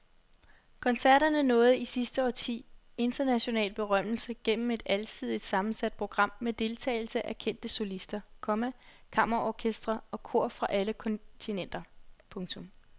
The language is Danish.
Koncerterne nåede i sidste årti international berømmelse gennem et alsidigt sammensat program med deltagelse af kendte solister, komma kammerorkestre og kor fra alle kontinenter. punktum